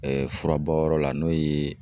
furabɔ yɔrɔ la n'o ye